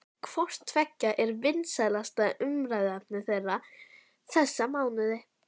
Hvort tveggja er vinsælasta umræðuefni þeirra þessa mánuði.